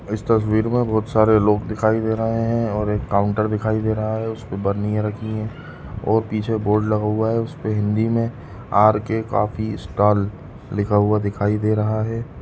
इस तस्वीर में बहुत सारे लोग दिखाई दे रही है और काउंटर दिखाई दे रहा है उसपे बर्निया रखी हुयी है और पीछे बोर्ड लगाया हुआ है उसपे हिंदी में आर के कॉफ़ी स्टॉल लिखा हुआ दिखाई दे रहा है।